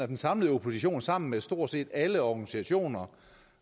den samlede opposition sammen med stort set alle organisationer